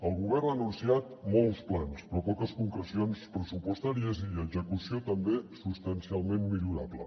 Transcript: el govern ha anunciat molts plans però poques concrecions pressupostàries i execució també substancialment millorable